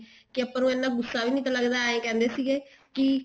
ਕੇ ਆਪਾਂ ਨੂੰ ਇੰਨਾ ਗੁੱਸਾ ਵੀ ਨੀ ਲੱਗਦਾ ਏਵੇਂ ਕਹਿੰਦੇ ਸੀ ਵੀ